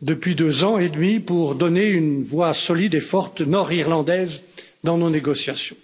depuis deux ans et demi pour donner une voix solide et forte nord irlandaise dans nos négociations.